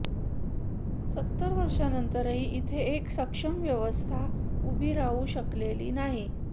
सत्तर वर्षांनंतरही इथे एक सक्षम व्यवस्था उभी राहू शकलेली नाही